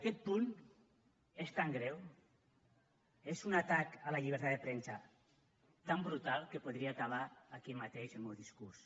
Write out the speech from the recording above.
aquest punt és tan greu és un atac a la llibertat de premsa tan brutal que podria acabar aquí mateix el meu discurs